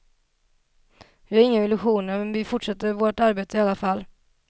Vi har inga illusioner, men vi fortsätter vårt arbete i vilket fall.